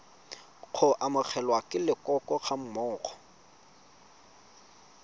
go amogelwa ke leloko gammogo